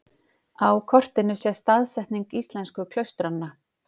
Á kortinu sést staðsetning íslensku klaustranna.